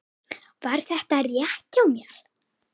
Var þetta rétt hjá mér?